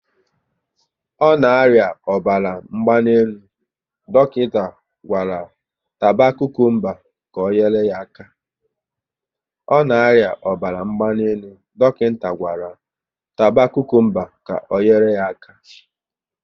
Ọ na aria ọbara mgbanelu, dọkịta gwara taba kukumba ka ọ nyere ya aka